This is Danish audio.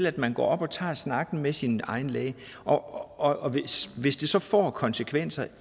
at man går op og tager snakken med sin egen læge og og hvis det så får konsekvenser